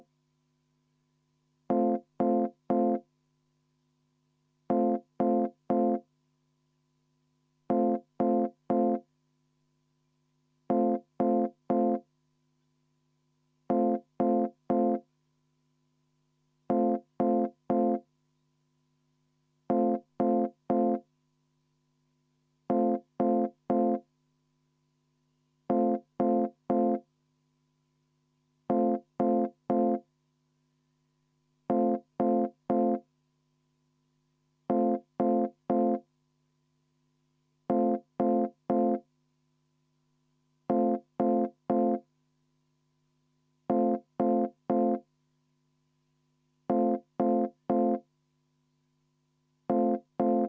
V a h e a e g